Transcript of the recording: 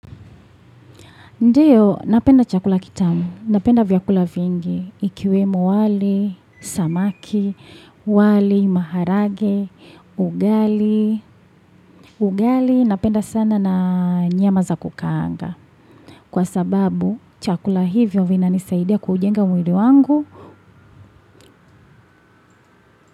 Ndiyo, napenda chakula kitamu, napenda vyakula vingi, ikiwemo wali, samaki, wali, maharage, ugali. Ugali napenda sana na nyama za kukaanga. Kwa sababu, chakula hivyo vinanisaidia kujenga mwili wangu.